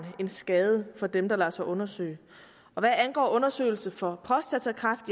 end skade for dem der lader sig undersøge hvad angår undersøgelse for prostatakræft